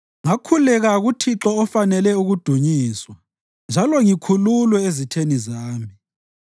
Ngakhuleka kuThixo ofanele ukudunyiswa njalo ngikhululwe ezitheni zami.